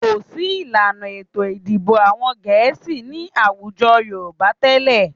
Kò sí ìlànà ètò ìdìbò àwọn Gẹ̀ẹ́sì ní àwùjọ Yorùbá tẹ́lẹ̀